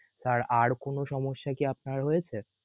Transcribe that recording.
sir আর কোন সমস্যা কি আপনার হয়েছে?